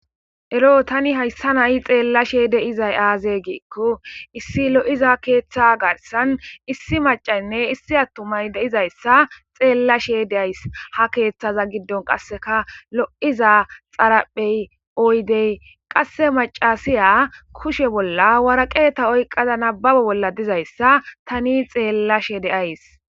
Ero ha' tani hayssani xeellashe de'izayssi azee gikko issi lo'iza pirdda keeththan issi maccaynne issi atuma nay de'izayssa xeellashe dayis.ha keeththaza giddon kaseka lo'iza waraqata maccasiya nababuwus.